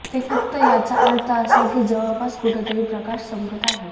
ते फक्त याचा अर्थ असा की जवळपास कुठेतरी प्रकाश चमकत आहे